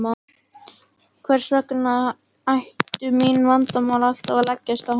Hvers vegna ættu mín vandamál alltaf að leggjast á hana.